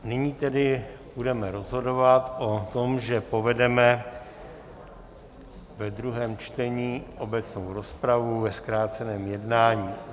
Nyní tedy budeme rozhodovat o tom, že povedeme ve druhém čtení obecnou rozpravu ve zkráceném jednání.